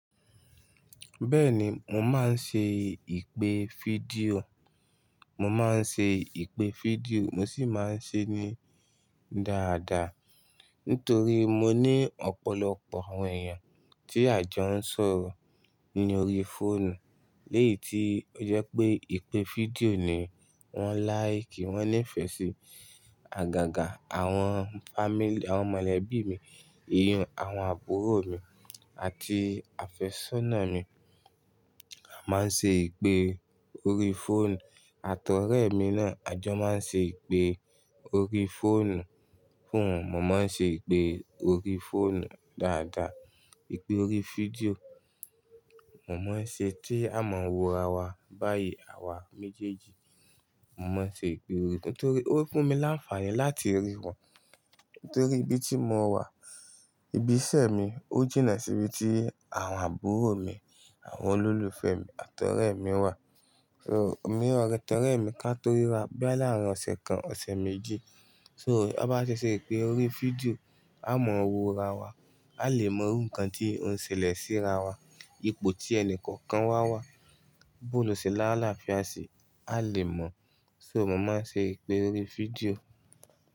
Bẹ́ẹ̀ni, mo máa ń ṣe ìpè fídíò, mo máa ń ṣe ìpè fídíò mo sì máa ń ṣe é ní dáadáa. Nítorí mo ní ọ̀pọ̀lọpọ̀ àwọn èèyàn tí àjọ ń sọ̀rọ̀ ní orí fóònù. Lẹ́yì tí ó jẹ́ pé ìpè fídíò ni wọ́n láìkì, wọ́n nífẹ̀ẹ́ sí. Àgàgà àwọn family, àwọn mọ̀lẹ́bí mi, ìyún àwọn àbúrò mi àti àfẹ́sọ́nà mi. A máa ń ṣe ìpè orí fóònù, àtọ̀rẹ́ mi náà, àjọ máa ń ṣe ìpè orí fóònù fún un. Mo máa ń ṣe ìpè orí fóònù dáadáa. Ìpè orí fídíò, mo máa ń ṣe tí a mọ wòra wa, báyìí àwa méjèèjì, mo máa ṣe ìpè orí, nítorí ó fún mi láǹfààní láti rí wọn. Nítorí ibi tí mo wà, ibi iṣẹ́ mi ó jìnnà sí ibi tí àwọn àbúrò mi, àwọn olólùfẹ́ mi, àtọ̀rẹ́ mi wà. So, èmi ọ̀rẹ́, àtọ̀rẹ́ mi ka to ríra bóyá laárìn ọ̀sẹ̀ kan, ọ̀sẹ̀ méjì. So, a bá ṣẹ̀ ṣe ìpè orí fídíò, a mọ wòra wa, a lè mọ irú nkan tí ó ń ṣẹlẹ̀ síra wa. Ipo tí ẹni kọ̀ọ̀kan wà wá, bó ló ṣe lálàáfia ṣi, a lè mọ̀. So mo máa ń ṣe ìpè orí fídíò.